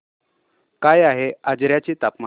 काय आहे आजर्याचे तापमान